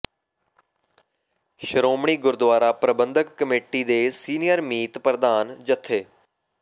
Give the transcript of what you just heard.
Shiromani Gurdwara Parbandhak committee ਦੇ senior ਮੀਤ ਪ੍ਰਧਾਨ ਜਥੇ